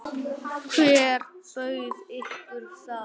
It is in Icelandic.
Hver bauð ykkur það?